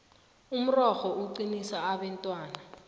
umrorho uqinisa abentwana